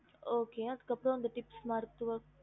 ஹம்